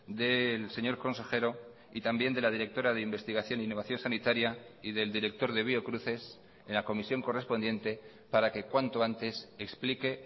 del señor consejero y también de la directora de investigación innovación sanitaria y del director de biocruces en la comisión correspondiente para que cuanto antes explique